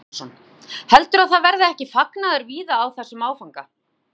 Kristján Már Unnarsson: Heldurðu að það verði ekki fagnaður víða á þessum áfanga?